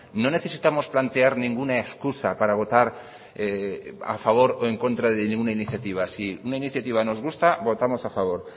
no necesitamos plantear ninguna excusa para votar a favor o en contra de ninguna iniciativa si una iniciativa nos gusta votamos a favor